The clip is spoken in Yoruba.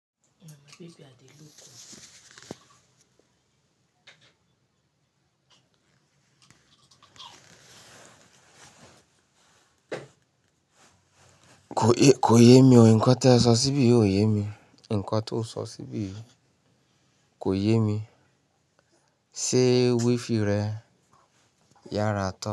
Kò yé mi o, nǹkan tí ẹ sọ síbí ò yé mi. Nǹkan tí o sọ síbí kò yé mi. Ṣé wifi rẹ yára tán?